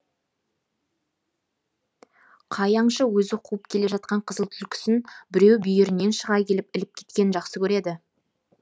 қай аңшы өзі қуып келе жатқан қызыл түлкісін біреу бүйірінен шыға келіп іліп кеткенін жақсы көреді